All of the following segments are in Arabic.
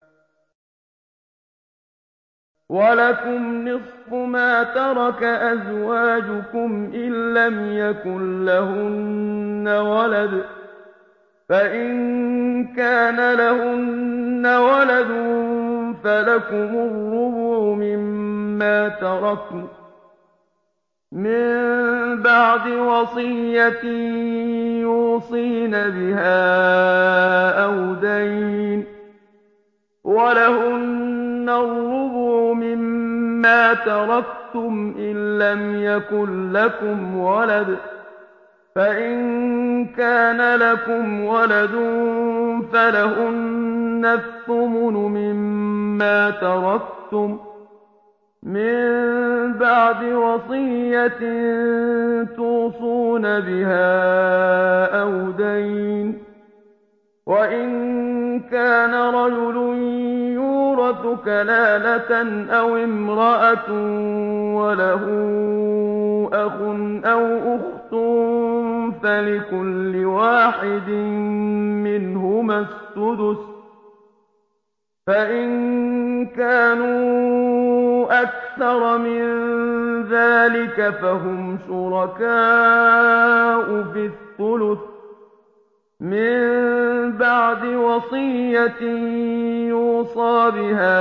۞ وَلَكُمْ نِصْفُ مَا تَرَكَ أَزْوَاجُكُمْ إِن لَّمْ يَكُن لَّهُنَّ وَلَدٌ ۚ فَإِن كَانَ لَهُنَّ وَلَدٌ فَلَكُمُ الرُّبُعُ مِمَّا تَرَكْنَ ۚ مِن بَعْدِ وَصِيَّةٍ يُوصِينَ بِهَا أَوْ دَيْنٍ ۚ وَلَهُنَّ الرُّبُعُ مِمَّا تَرَكْتُمْ إِن لَّمْ يَكُن لَّكُمْ وَلَدٌ ۚ فَإِن كَانَ لَكُمْ وَلَدٌ فَلَهُنَّ الثُّمُنُ مِمَّا تَرَكْتُم ۚ مِّن بَعْدِ وَصِيَّةٍ تُوصُونَ بِهَا أَوْ دَيْنٍ ۗ وَإِن كَانَ رَجُلٌ يُورَثُ كَلَالَةً أَوِ امْرَأَةٌ وَلَهُ أَخٌ أَوْ أُخْتٌ فَلِكُلِّ وَاحِدٍ مِّنْهُمَا السُّدُسُ ۚ فَإِن كَانُوا أَكْثَرَ مِن ذَٰلِكَ فَهُمْ شُرَكَاءُ فِي الثُّلُثِ ۚ مِن بَعْدِ وَصِيَّةٍ يُوصَىٰ بِهَا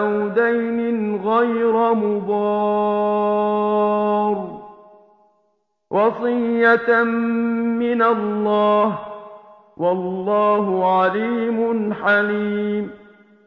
أَوْ دَيْنٍ غَيْرَ مُضَارٍّ ۚ وَصِيَّةً مِّنَ اللَّهِ ۗ وَاللَّهُ عَلِيمٌ حَلِيمٌ